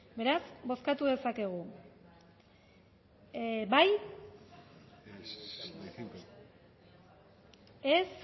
beraz bozkatu dezakegu bozketaren